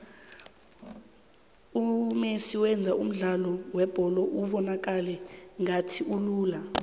umesi wenza umdlalo webholo ubonakale ngathi ulula